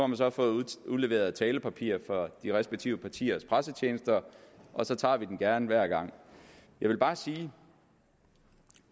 man så fået udleveret talepapirer fra de respektive partiers pressetjenester og så tager vi den gerne hver gang jeg vil bare sige at